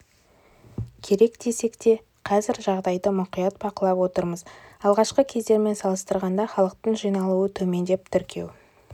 керек десек те қазір жағдайды мұқият бақылап отырмыз алғашқы кездермен салыстырғанда халықтың жиналуы төмендеп тіркеу